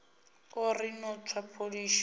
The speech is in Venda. a ri no tswa pholishi